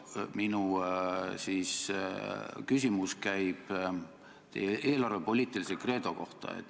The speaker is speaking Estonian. Minu küsimus käib teie eelarvepoliitilise kreedo kohta.